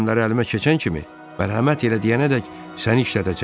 Yük gəmiləri əlimə keçən kimi mərhəmət elə deyənədək səni işlədəcəm.